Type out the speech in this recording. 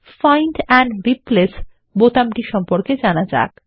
find and replace বোতামটি সম্পর্কে জানা যাক